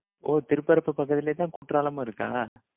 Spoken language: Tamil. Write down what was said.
ஓ, திருப்பரப்பு பகுதியிலதான் குற்றாலமும் இருக்கா?